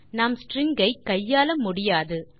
நாம் ஸ்ட்ரிங் ஐ கையாள முடியாது